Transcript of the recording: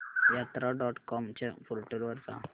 यात्रा dot com च्या portal वर जा